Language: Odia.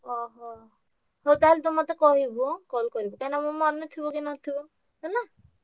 ଓହୋ ହଉ ତାହେଲେ ତୁ ମତେ କହିବୁ ହାଁ call କରିବୁ ହାଁ କାଇଁ ନାଁ ମୋର ମନେ ନ ଥିବ ହେଲା।